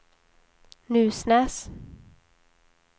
Nusnäs